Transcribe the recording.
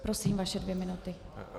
Prosím, vaše dvě minuty.